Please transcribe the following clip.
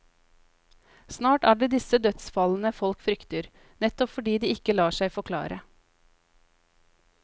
Snart er det disse dødsfallene folk frykter, nettopp fordi de ikke lar seg forklare.